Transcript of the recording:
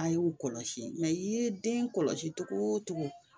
A y'u kɔlɔsi i ye den kɔlɔsi cogo o cogo